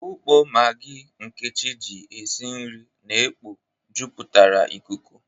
Ukpo Magi Nkechi ji esi nri na-ekpo jupụtara ikuku.